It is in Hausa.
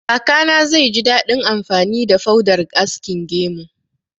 Kakana zai ji daɗin amfani da faudar askin gemu